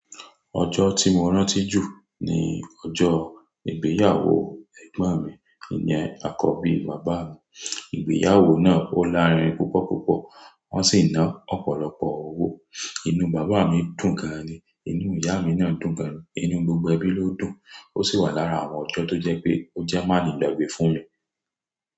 Ọjọ́ tí mo rántí jù ni ọjọ́ ìgbéyàwó Ẹ̀gbọ́n mi, ìyẹn àkọ́bí bàbá mi. Ìgbéyàwó náà ó lárinrin púpọ̀ púpọ̀, wọ́n sì ná ọ̀pọ̀lọpọ̀ owó. Inú bàbá mi dùn gan ni, inú ìyá mi náà dùn gan ni, inú gbogbo ẹbí ló dùn. Ó sì wà lára àwọn ọjọ́ tó jẹ́ pé ó jẹ́ máa ni gbagbe fún mi.